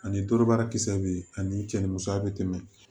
Ani torobaarakisɛ bɛ yen ani cɛ ni musoya bɛ tɛmɛ